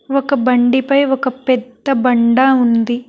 ఒక బండి పై ఒక పెద్ద బండ ఉంది.